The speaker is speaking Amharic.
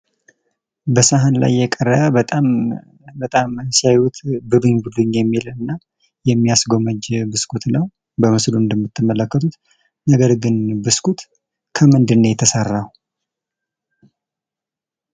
በሳህን ላይ የቀረበ በጣም ሲያዩት ብሉኝ ብሉኝ የሚል እና የሚያስጎመጅ ብስኩት ነው፤ በምስሉ እንደምትመለከቱት ነገር ግን ብስኩት ከምንድን ነው የተሰራው?